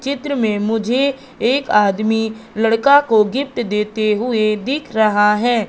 चित्र में मुझे एक आदमी लड़का को गिफ्ट देते हुए दिख रहा है।